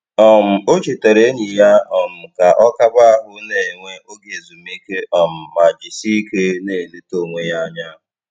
um O chetara enyi ya um ka ọ kaba ahụ na - enwe oge ezumike um ma jisieike na - eleta onwe ya anya